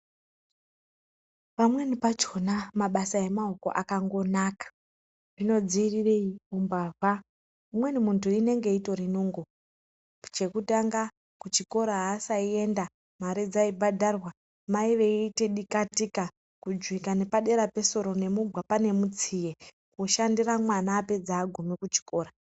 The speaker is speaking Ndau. Pamweni pachona mabasa emaoko akangonaka zvinodziirire umbavha ,umweni muntu inenge itori nungo . Chekutanga kuchikora aasaienda mare dzeibhadharwa mai vaiite dikatika kujuwika nepadera pesoro nemugwapa nemutsiye kushandira mwana apedze agume kuchikora .